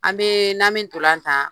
An bɛɛɛ nami ntolatan